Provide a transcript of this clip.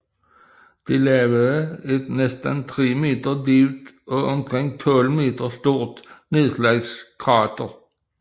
Det lavede et næsten tre meter dybt og omkring 12 meter stort nedslagskrater